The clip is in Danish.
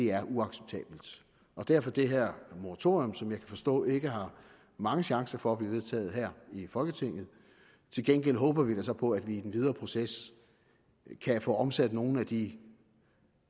er uacceptabelt og derfor det her moratorium som jeg kan forstå ikke har mange chancer for at blive vedtaget her i folketinget til gengæld håber vi da så på at vi i den videre proces kan få omsat nogle af de